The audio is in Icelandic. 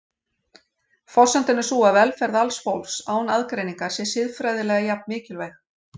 Forsendan er sú að velferð alls fólks, án aðgreiningar, sé siðfræðilega jafn mikilvæg.